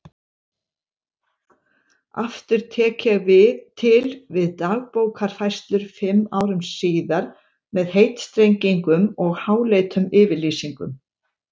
Aftur tek ég til við Dagbókarfærslur fimm árum síðar með heitstrengingum og háleitum yfirlýsingum.